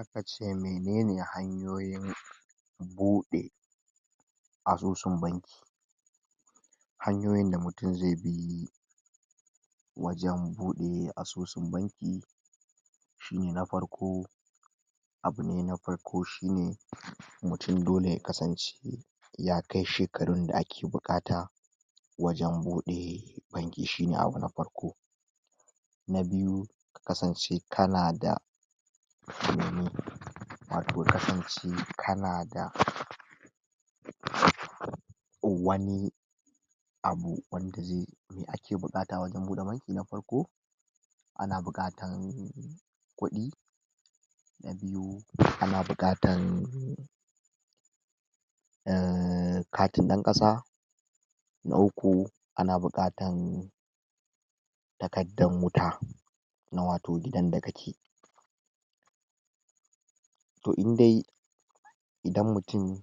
Aka ce menene hanyoyin buɗe asusun banki hanyoyin da mutum ze bi wajan buɗe asusun banki shine na parko, abune na parko shine mutum dole ya kasance ya kai shekarun da ake buƙata wajan buɗe banki shine abu na parko, na biyu ka kasance kana da wato kasance kana da um or wani abu wanda ze me ake buƙata wajan buɗa banki na parko ana buƙatan kuɗi, na biyu ana buƙatan um katin ɗan ƙasa, na uku ana buƙatan takaddan uta na wato gidan da kake. Toh indai idan mutum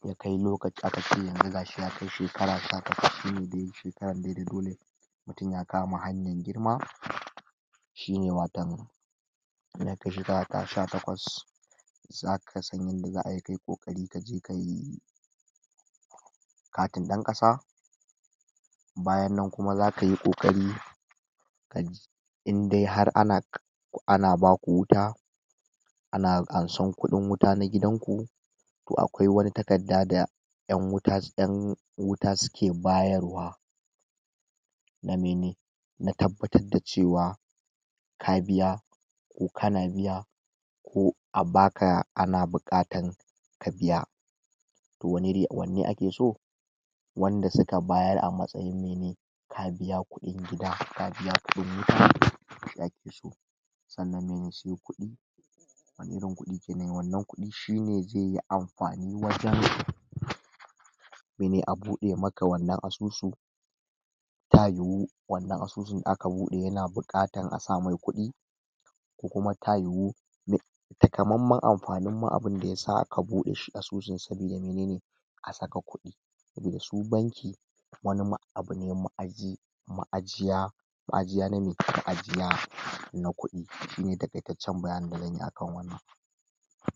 ya kai lokaci aka ce yanzu gashi ya kai shekara sha takwas shine dai da dole mutum ya kama hanyan girma shine watan sha takwas zaka san yanda za'ayi kayi ƙoƙari ka je kayi katin ɗan ƙasa bayan nan kuma za kayi ƙoƙari kaje indai har ana ana baku wuta ana ansan kuɗin wuta na gidan ku toh akwai wani takadda da ƴan wuta ƴan wuta suke bayar wa na mene tabbatar da cewa ka biya ko kana biya ko a baka ana buƙatan ka biya toh um wanne ake so wanda suka bayar a matsayin mene ka biya kuɗin biya ka biya kuɗin wuta shi ake so sannan mene se kuɗi wani irin kuɗi kenan wannan kuɗi shine jeyi ampani wajan mene a buɗe maka wannan asusu ta yiwu wannan asusun da aka buɗe yana buƙatan a samai kuɗi ko kuma ta yiwu um takamamman ampanin ma abinda yasa aka buɗe shi asusun sabida menene ka saka kuɗi sabida su banki wani ma abune ma'aji ma'ajiya ma'ajiya na me Ma'ajiya na kuɗi shine taƙaitaccen bayani da zanyi akan wannan.